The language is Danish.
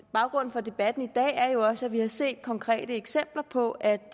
baggrunden for debatten i dag er jo også at vi har set konkrete eksempler på at